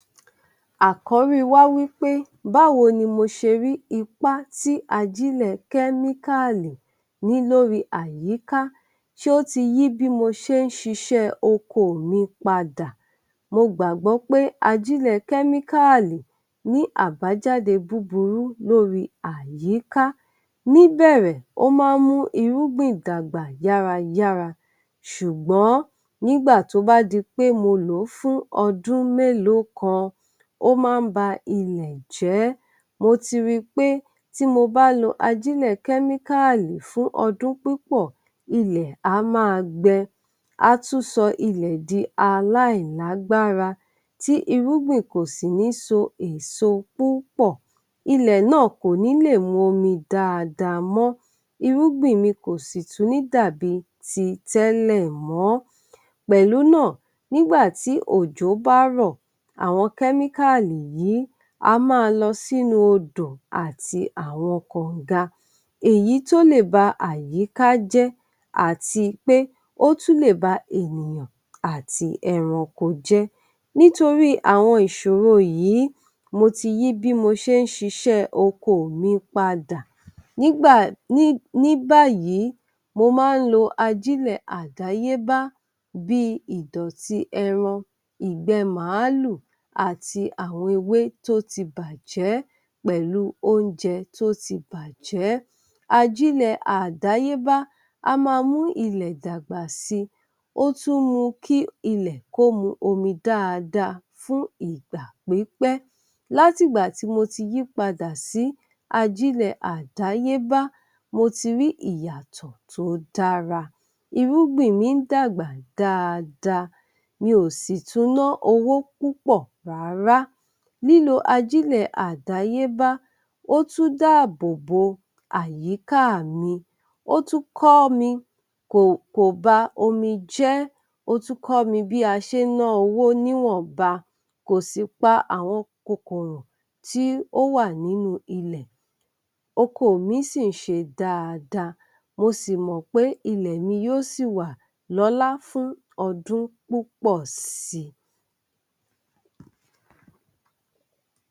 Àkórí wa wípé báwo ni mo ṣe rí ipá tí ajílẹ̀ kẹ́míkalì ní lóri àyíká, sé ó ti yí bí mo ṣe n ṣiṣẹ́ oko mi padà? Mo gbàgbọ pé ajílẹ̀ kẹ́míkálì ní àbájáde búburú lóri àyíká. Ní bẹ̀rẹ̀ ó má ń mú irúgbìn dàgbà yárayára ṣùgbọ́n, nígbà tó bá di pé mo lòó fún ọdún mélòó kan, ó má ń ba ilẹ̀ jẹ́. Mo ti ri pé tí mo bá lo ajílẹ̀ kẹ́míkàlì fún ọdún púpọ̀ ilẹ̀ á ma gbẹ á tún sọ ilẹ̀ di aláì lágbára tí irúgbìn kò sì ní so èso púpọ̀ ilẹ̀ náà kò ní lè momi dáadáa mọ́, irúgbìn mi kò sì tún ní dàbí ti tẹ́lẹ̀ mọ́, pẹ̀lú náà nígbàtí òjò bá rọ̀, àwọn kẹ́míkàlì yìí a má a lọ sínú odò àti àwọn kànga, èyí tó lè ba àyíká jẹ, àti pé ótún lè ba ènìyàn àti ẹranko jẹ́. Nítorí àwọn ìṣòro yìí, mo ti yí bí mo ṣe ń ṣíṣẹ oko mi padà. Nígbà, ní ní báyìí mo ma ń lo ajílẹ̀ àdéyébá bíi ìdọ̀tí ẹran, ìgbẹ́ màálù àti àwọn ewé tó ti bájẹ pẹ̀lu oúnjẹ tó ti bájẹ, Ajílẹ̀ àdáyébá a má a mú ilẹ̀ dàgbà si, o tún mu kí ilẹ̀ kó mu omi dáadáa fún ìgbà pípẹ́. Láti gbà tí mo ti yí pada sí ajílẹ̀ àdáyébá, mo ti rí ìyàtọ̀ tó dára, irúgbìn mi ń dàgbà dáadáa, mi ò sì tún ná owó púpọ̀ rárá. Lílo ajílẹ̀ àdáyébá, ó tún dá àbò bo àyíká mi, ó tún kọ́ mi kò kò ba omi jẹ́, ó tún kọ́ mi bí a ṣe ń ná owó níwọ̀n ba, kò sì pa àwọn kòkòrò tí ó wà ní inú ilẹ̀, oko mi sì ń ṣe dáadáa mo sì mọ pé ilẹ̀ mi yóò sì wà lólá fún ọdún púpọ̀ si.